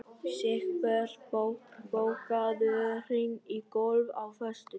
Sigbjörn, bókaðu hring í golf á föstudaginn.